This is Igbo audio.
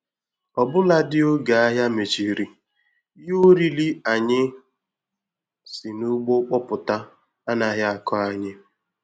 Ọbụladị oge ahịa mechiri, ihe oriri anyị si n'ugbo kpọpụta anaghị akọ anyị.